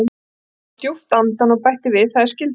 Hann dró djúpt andann og bætti við: Það er skylda mín.